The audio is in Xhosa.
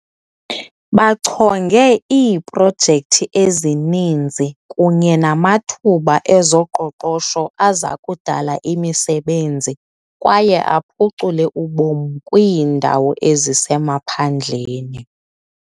Bachonge iiprojekthi ezininzi kunye namathuba ezoqoqosho azakudala imisebenzi kwaye aphucule ubomi kwiindawo ezisemaphandleni.